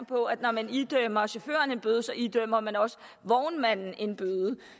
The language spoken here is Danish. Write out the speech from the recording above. på at når man idømmer chaufføren en bøde idømmer man også vognmanden en bøde